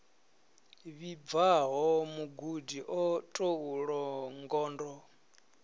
vhibvaho mugudi o tou longondo